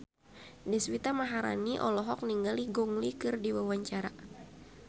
Deswita Maharani olohok ningali Gong Li keur diwawancara